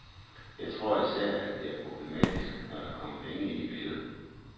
Jeg tror især, at det er problematisk, når der kommer penge ind i billedet.